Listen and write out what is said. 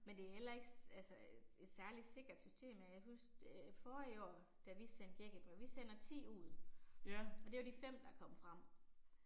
Men det er heller ikke altså øh et særlig sikkert system, jeg kan huske øh forrige år, da vi sendte gækkebreve. Vi sender 10 ud, og det var de 5, der kom frem